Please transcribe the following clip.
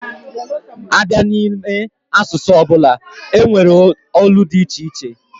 A bịa n'ime asụsụ ọbụla, e nwere olu dị iche iche